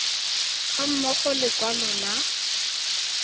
ga mmogo le lekwalo la